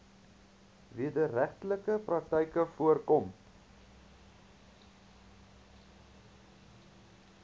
wederregtelike praktyke voorkom